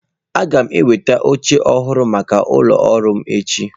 Aga m enweta oche ọhụrụ maka ụlọ ọrụ m echi.